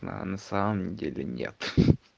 а на самом деле нет